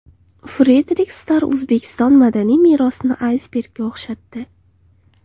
Frederik Starr O‘zbekiston madaniy merosini aysbergga o‘xshatdi.